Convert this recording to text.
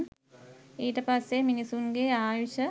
ඊට පස්සේ මිනිසුන්ගේ ආයුෂ